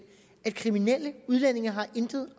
at kriminelle udlændinge intet